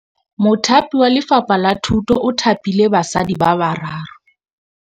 Mothapi wa Lefapha la Thutô o thapile basadi ba ba raro.